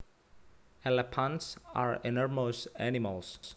Elephants are enormous animals